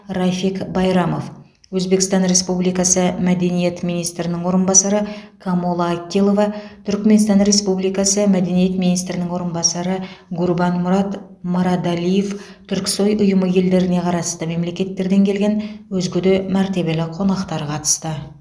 рафиг байрамов өзбекстан республикасы мәдениет министрінің орынбасары камола акилова түркіменстан республикасы мәдениет министрінің орынбасары гурбанмұрад мырадалиев түрксой ұйымы елдеріне қарасты мемлекеттерден келген өзге де мәртебелі қонақтар қатысты